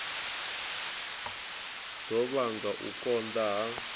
ḓo vhanga u konḓa ha